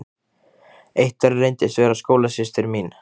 Eitt þeirra reyndist vera skólasystir mín.